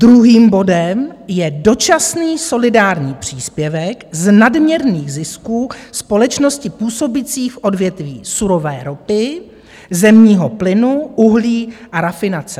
Druhým bodem je dočasný solidární příspěvek z nadměrných zisků společností působících v odvětví surové ropy, zemního plynu, uhlí a rafinace.